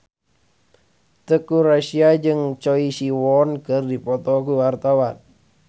Teuku Rassya jeung Choi Siwon keur dipoto ku wartawan